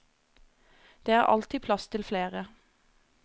Det er alltid plass til flere.